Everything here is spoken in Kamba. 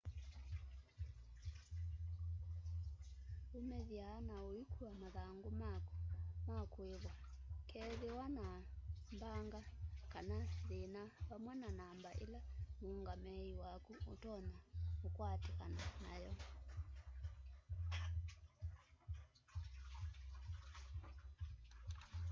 umĩthya na ũikua mathangũ maku ma kũĩvwa kũkethĩwa na mbanga kana thĩna vamwe na namba ĩla mũũngamĩi waku ũtonya ũkwatĩkana nam'yo